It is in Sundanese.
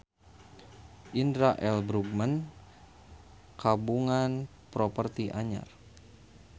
Indra L. Bruggman kagungan properti anyar